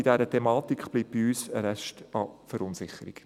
Bei dieser Thematik bleibt uns ein Rest an Verunsicherung.